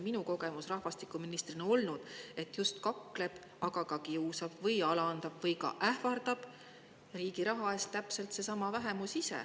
Minu kogemus rahvastikuministrina oli selline, et kakleb, kiusab või alandab, aga ka ähvardab riigi raha eest seesama vähemus ise.